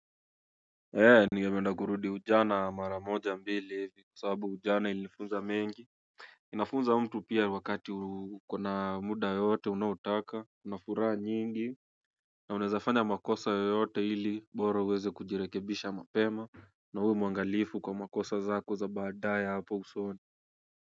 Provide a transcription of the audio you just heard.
Ee, ningependa kurudi ujana mara moja mbili ivi kwa sababu ujana ilifunza mengi. Inafunza mtu pia wakati ukona muda yote unaotaka una furaha nyingi. Na unaezafanya makosa yoyote ili bora uweze kujirekebisha mapema. Na uwe mwangalifu kwa makosa zako za baadae hapo usoni.